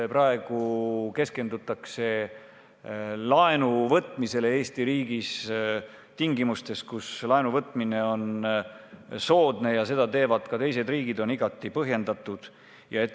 Praegu keskendutakse laenu võtmisele ja tingimustes, kus laenu võtmine on soodne ja seda teevad ka teised riigid, on see igati põhjendatud.